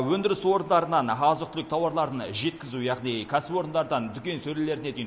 өндіріс орындарынан азық түлік тауарларын жеткізу яғни кәсіпорындардан дүкен сөрелеріне дейін